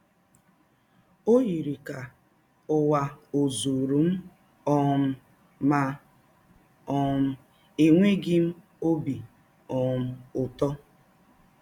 Ọ yiri ka ụwa ọ̀ zụụrụ m um, ma um enweghị m ọbi um ụtọ.